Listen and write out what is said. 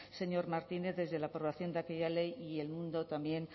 señor martínez desde la aprobación de aquella ley y el mundo también